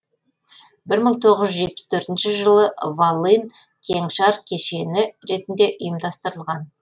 бір мың тоғыз жүз жетпіс төртінші жылы волын кеңшар кешені ретінде ұйымдастырылған